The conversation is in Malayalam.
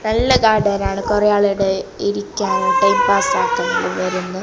നല്ല ഗാർഡൻ ആണ് കുറെ ആളാടെ ഇരിക്കാനും ടൈംപാസ്സ് ആക്കാനും എല്ലാം വരുന്ന--